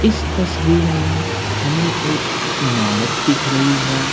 इस तस्वीर में हमें एक इमारत दिख रही है।